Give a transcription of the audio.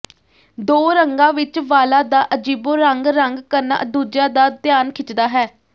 ਦੋ ਰੰਗਾਂ ਵਿਚ ਵਾਲਾਂ ਦਾ ਅਜੀਬੋ ਰੰਗ ਰੰਗ ਕਰਨਾ ਦੂਜਿਆਂ ਦਾ ਧਿਆਨ ਖਿੱਚਦਾ ਹੈ